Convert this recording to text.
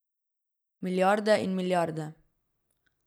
Milijarde in milijarde.